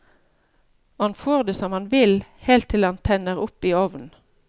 Og han får det som han vil, helt til han tenner opp i ovnen.